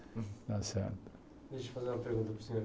Deixa eu fazer uma pergunta para o senhor.